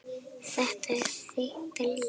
Þetta er þitt líf!